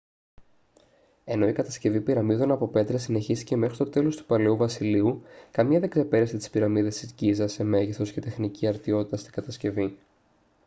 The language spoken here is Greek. ενώ η κατασκευή πυραμίδων από πέτρα συνεχίστηκε μέχρι το τέλος του παλαιού βασιλείου καμία δεν ξεπέρασε τις πυραμίδες της γκίζας σε μέγεθος και τεχνική αρτιότητα στην κατασκευή